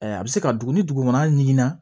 a bɛ se ka dugu ni dugu kɔnɔna ɲiginna